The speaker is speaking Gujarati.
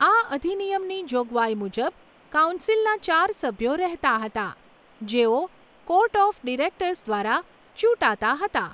આ અધિનિયમની જોગવાઈ મુજબ, કાઉન્સિલના ચાર સભ્યો રહેતાં હતા, જેઓ કોર્ટ ઓફ ડિરેક્ટર્સ દ્વારા ચૂંટાતાં હતાં.